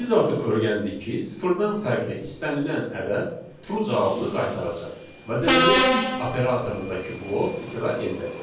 Biz artıq öyrəndik ki, sıfırdan fərqli istənilən ədəd true cavabını qaytaracaq və deməli if operatorundakı blok icra ediləcək.